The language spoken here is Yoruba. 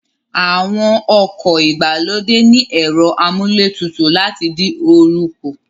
Àwọn ọkọ̀ ìgbàlódé ní ẹ̀rọ amúlé tutù láti dín oorun kù